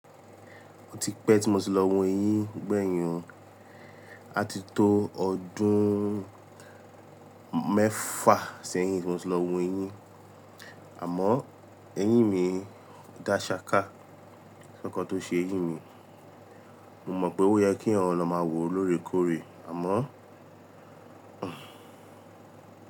Ó ti pẹ́ tí mo ti lọ wo eyín gbẹ̀yìn o, á ti tó ọdún mẹ́fà sẹ́yìn tí mo ti lọ wo eyín. Àmọ́ eyín mi dá ṣáká, kòsì nǹkankan tó ṣeyín mi. Mo mọ̀ pé ó yẹ kí èèyàn lọ máa wo lóòrè kóòré àmọ́.